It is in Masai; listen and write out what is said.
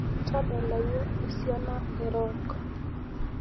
tadalayu esiana ee rock